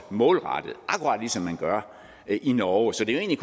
målrettet akkurat ligesom man gør det i norge så det er